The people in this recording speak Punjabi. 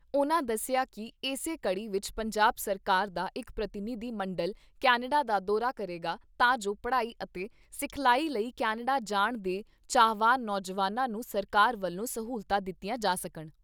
ਉਨ੍ਹਾਂ ਦੱਸਿਆ ਕਿ ਇਸੇ ਕੜ੍ਹੀ ਵਿਚ ਪੰਜਾਬ ਸਰਕਾਰ ਦਾ ਇਕ ਪ੍ਰਤੀਨਿਧ ਮੰਡਲ ਕੈਨੇਡਾ ਦਾ ਦੌਰਾ ਕਰੇਗਾ ਤਾਂ ਜੋ ਪੜ੍ਹਾਈ ਅਤੇ ਸਿਖਲਾਈ ਲਈ ਕੈਨੇਡਾ ਜਾਣ ਦੇ ਚਾਹਵਾਨ ਨੌਜਵਾਨਾਂ ਨੂੰ ਸਰਕਾਰ ਵੱਲੋਂ ਸਹੂਲਤਾਂ ਦਿੱਤੀਆਂ ਜਾ ਸਕਣ।